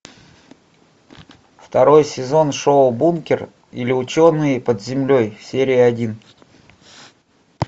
второй сезон шоу бункер или ученые под землей серия один